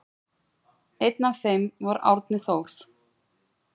Einn af þeim var Árni Þór.